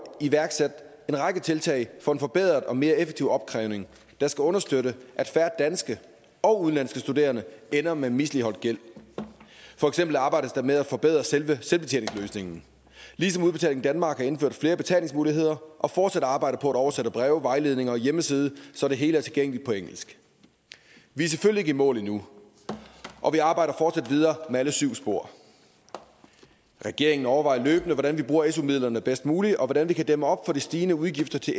iværksat en række tiltag for en forbedret og mere effektiv opkrævning der skal understøtte at færre danske og udenlandske studerende ender med misligholdt gæld for eksempel arbejdes der med at forbedre selve selvbetjeningsløsningen ligesom udbetaling danmark har indført flere betalingsmuligheder og fortsat arbejder på at oversætte breve vejledninger og hjemmeside så det hele er tilgængeligt på engelsk vi er selvfølgelig ikke i mål endnu og vi arbejder fortsat videre med alle syv spor regeringen overvejer løbende hvordan vi bruger su midlerne bedst muligt og hvordan vi kan dæmme op for de stigende udgifter til